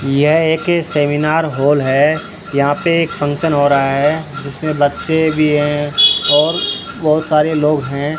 यह एक seminar hall है यहां पे एक फंक्शन हो रहा है जिसमें बच्चे भी है और बहुत सारे लोग हैं।